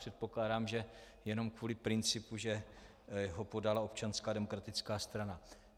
Předpokládám, že jenom kvůli principu, že ho podala Občanská demokratická strana.